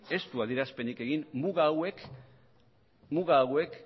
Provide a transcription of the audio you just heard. ez du adierazpenik egin muga hauek